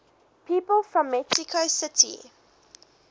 people from mexico city